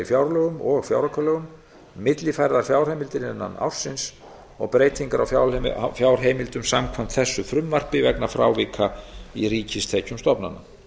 fjárlögum og fjáraukalögum millifærðar fjárheimildir innan ársins og breytingar á fjárheimildum samkvæmt þessu frumvarpi vegna frávika í ríkistekjum stofnana